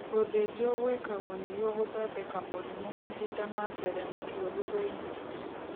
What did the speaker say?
Gũthĩnjwo gwĩkagwo nĩguo gũthodeka mũrimũ mahinda ma mbere mũtũrĩre-inĩ